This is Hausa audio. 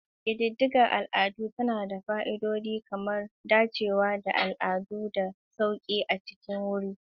Ƙididdigar al'ada tana da fa'idodi kamar dacewa da al'adu da sauƙi a cikin wuri.